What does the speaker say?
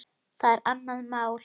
Það er annað mál.